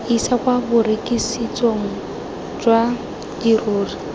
isa kwa borekisetsong jwa dirori